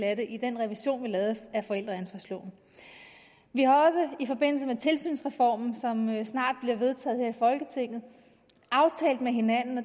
af det i den revision vi lavede af forældreansvarsloven vi har også i forbindelse med tilsynsreformen som snart bliver vedtaget her i folketinget aftalt med hinanden og